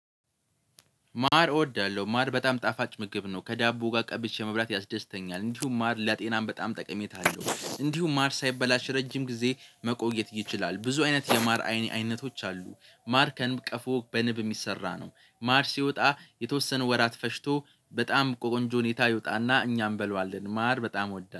ማር እወዳለሁ ማር በጣም ጣፋጭ ምግብ ነው። ከዳቦ ጋር ቀብቼ መብላት ያስደስተኛል እንዲሁም ማር ለጤናም በጣም ጠቀሜታ አለው። እንዲሁም ማር ሳይበላሽ ረጅም ጊዜ መቆየት ይችላል። ብዙ አይነት የማር አይ አይነቶች አሉ። ማር ከንብ ቀፎ በንብ የሚሰራ ነው። ማር ሲወጣ የተወሰነ ወራት ፈጅቶ በጣም ቆንጆ ሁኔታ ይወጣና እኛ እንበላዋለን። ማር በጣም እወዳለሁ